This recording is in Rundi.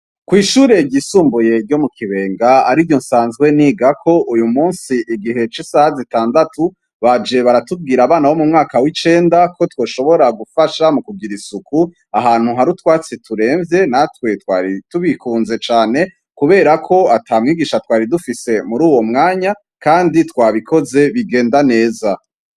Kw'ishureryisumbuyeryo mu kibenga ari ryo nsanzwe nigako uyu musi igihe c'isaha zitandatu baje baratubwira abana bo mu mwaka w'icenda ko twoshobora gufasha mu kugira isuku ahantu hari utwatsi turemvye natwe twari tubikunze cane, kubera ko ata mwigisha twari dufise muri uwo mwanya andi twabikoze bigenda neza.